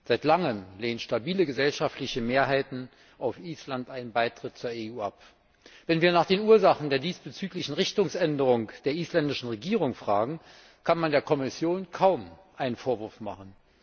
Seit Langem lehnen stabile gesellschaftliche Mehrheiten auf Island einen Beitritt zur EU ab. Wenn wir nach den Ursachen der diesbezüglichen Richtungsänderung der isländischen Regierung fragen, kann man der Kommission kaum einen Vorwurf machen.